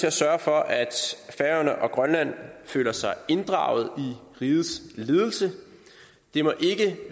at sørge for at færøerne og grønland føler sig inddraget i rigets ledelse det må ikke